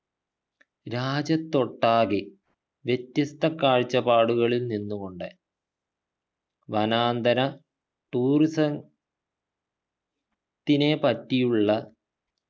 രാജ്യത്തൊട്ടാകെ വ്യത്യസ്ത കാഴ്ചപ്പാടുകളിൽ നിന്ന് കൊണ്ട് വനാന്തര tourism ത്തിനെ പറ്റിയുള്ള